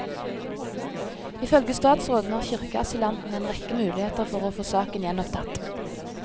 Ifølge statsråden har kirkeasylantene en rekke muligheter for å få saken gjenopptatt.